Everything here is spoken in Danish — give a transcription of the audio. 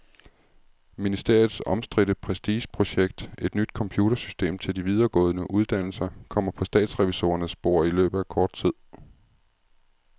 Ministeriets omstridte prestigeprojekt, et nyt computersystem til de videregående uddannelser, kommer på statsrevisorernes bord i løbet af kort tid.